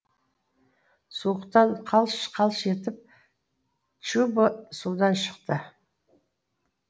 суықтан қалш қалш етіп чубо судан шықты